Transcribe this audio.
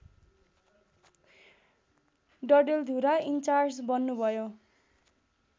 Dadeldhura in charge बन्नुभयो